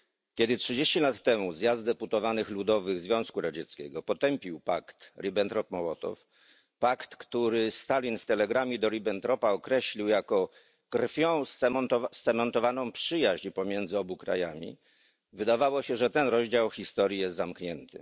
Kiedy 30 lat temu Zjazd Deputowanych Ludowych Związku Radzieckiego potępił pakt Ribbentrop Mołotow pakt, który Stalin w telegramie do Ribbentropa określił jako krwią zcementowaną przyjaźń pomiędzy obu krajami wydawało się, że ten rozdział historii jest zamknięty.